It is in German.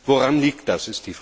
Woran liegt das?